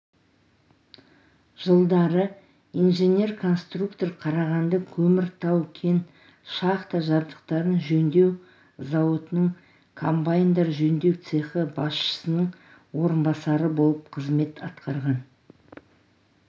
жылдары инженер-конструктор қарағандыкөмір тау-кен шахта жабдықтарын жөндеу зауытының комбайндар жөндеу цехы басшысының орынбасары болып қызмет атқарған